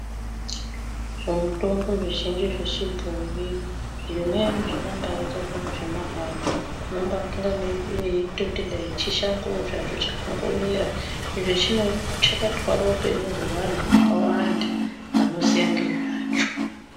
Zvimutombo zvizhinji zvechibhoyi zvimweni zvakambaita zvinhu zvemahara. Unombafunga weitoti dai chishangowo zvacho chakangomera, izvo chakatwara upenyu hwevantu vakawanda vanoziya ngezvacho.